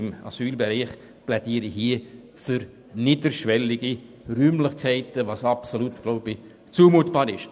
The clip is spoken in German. Deshalb plädiere ich für niederschwellige Räumlichkeiten, was absolut zumutbar ist.